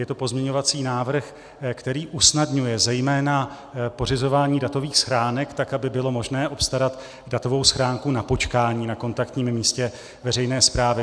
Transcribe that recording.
Je to pozměňovací návrh, který usnadňuje zejména pořizování datových schránek tak, aby bylo možné obstarat datovou schránku na počkání na kontaktním místě veřejné správy.